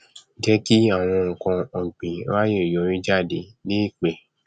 jẹ kí àwọn nkanọgbìn ráàyè yọrí jáde léèpẹ